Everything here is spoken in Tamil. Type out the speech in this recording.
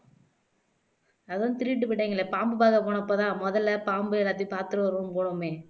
அதான் திருடிட்டு போய்ட்டாங்களே பாம்பு பார்க்க போனப்பதான் முதலை பாம்பு எல்லாத்தையும் பாத்துட்டு வருவோம்ன்னு போனோமே